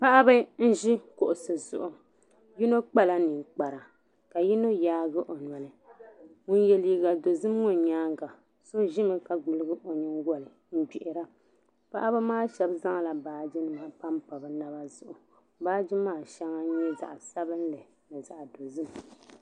Paɣibi nzi kuɣisi zuɣu yinɔ kpala ninkpara ka yinɔ yaagi ɔnɔli ŋun ye liiga dɔzim ŋɔ nyaaŋa, sɔ zimi ka gbuligi ɔ nyingoli n gbihira paɣibi maa shabi zaŋla baaji nima. m pampa bi naba zuɣu baaji maa shaŋa n nyɛ zaɣi sabinli ni zaɣi dɔ zim.